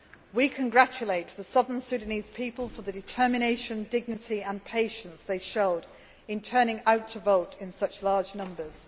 We congratulate the Southern Sudanese people for the determination, dignity and patience they showed in turning out to vote in such large numbers.